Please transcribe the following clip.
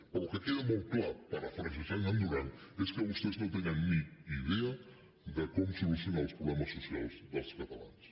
però el que queda molt clar parafrasejant en duran és que vostès no tenen ni idea de com solucionar els problemes socials dels catalans